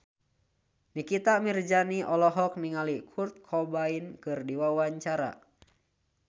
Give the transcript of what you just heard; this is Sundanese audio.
Nikita Mirzani olohok ningali Kurt Cobain keur diwawancara